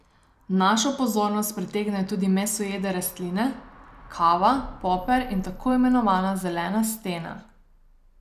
Našo pozornost pritegnejo tudi mesojede rastline, kava, poper in tako imenovana zelena stena.